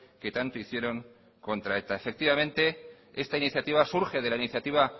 que tanto hicieron contra eta efectivamente esta iniciativa surge de la iniciativa